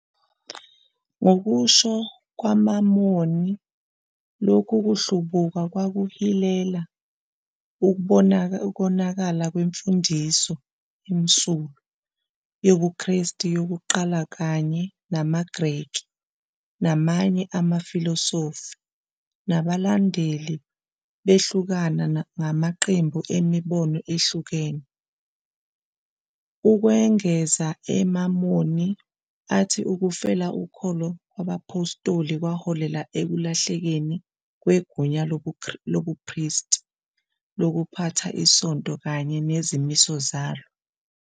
Ngokusho kwamaMormon lokhu kuhlubuka kwakuhilela ukonakala kwemfundiso emsulwa, yobuKristu yokuqala kanye namaGreki namanye amafilosofi, nabalandeli behlukana ngamaqembu emibono ehlukene. Ukwengeza, amaMormon athi ukufela ukholo kwabaPhostoli kwaholela ekulahlekelweni kwegunya lobuPristi lokuphatha iSonto kanye nezimiso zalo.